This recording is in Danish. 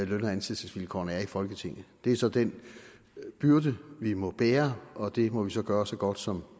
løn og ansættelsesvilkårene er i folketinget det er så den byrde vi må bære og det må vi så gøre så godt som